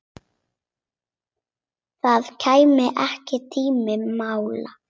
Það kæmi ekki til mála.